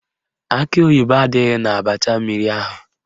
Akị oyibo adịghị n'abacha mmiri ahụ